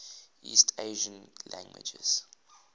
east asian languages